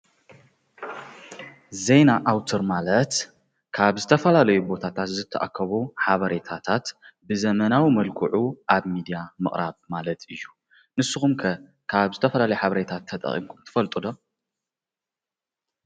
ዜና ኣዉትር ማለት ካብ ዝተፈላለዩ ቦታታት ዝተኣከቡ ሓበሬታታት ብዘመናዊ መልክዑ ኣብ ሚድያ ምቅራብ ማለት እዩ ።ንስኩም ከ ካብ ዝተፈላለዩ ሓበሬታታት ተጠቂምኩም ትፈሉልጡ ዶ?